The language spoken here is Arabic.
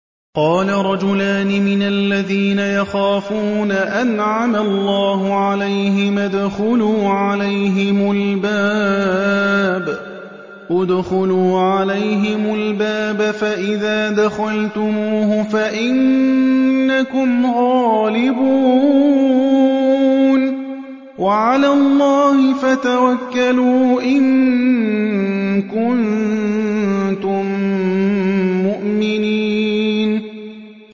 قَالَ رَجُلَانِ مِنَ الَّذِينَ يَخَافُونَ أَنْعَمَ اللَّهُ عَلَيْهِمَا ادْخُلُوا عَلَيْهِمُ الْبَابَ فَإِذَا دَخَلْتُمُوهُ فَإِنَّكُمْ غَالِبُونَ ۚ وَعَلَى اللَّهِ فَتَوَكَّلُوا إِن كُنتُم مُّؤْمِنِينَ